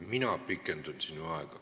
Mina pikendan sinu aega.